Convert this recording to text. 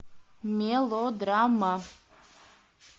мелодрама